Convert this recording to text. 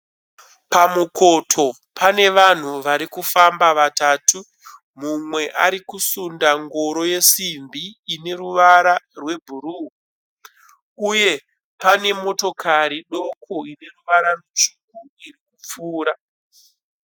Pamukoto pane vanhu varikufamba vatatu. Mumwe arikusunda ngoro yesimbi ine ruvara rwe bhuruu. Uye pane motokari doko ine ruvara rutsvuku iri kupfuura.